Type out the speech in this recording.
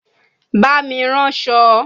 Bá mi ránṣọ!